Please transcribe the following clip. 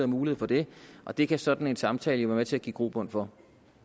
mulighed for det og det kan sådan en samtale jo være med til at give grobund for